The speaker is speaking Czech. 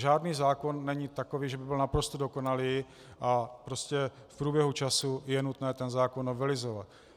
Žádný zákon není takový, že by byl naprosto dokonalý, a prostě v průběhu času je nutné ten zákon novelizovat.